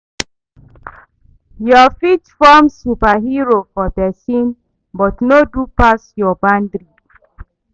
Yu fit form superhero for pesin but no do pass yur bandry